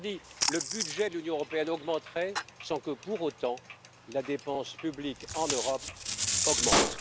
Autrement dit, le budget de l'Union européenne augmenterait sans que, pour autant, la dépense publique en Europe augmente.